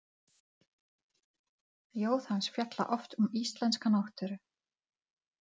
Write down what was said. Ljóð hans fjalla oft um íslenska náttúru.